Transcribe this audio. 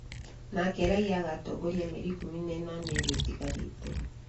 nake raiya agaatongoria mĩeri ikũmi na ĩnana ĩrĩa ĩtigarĩte.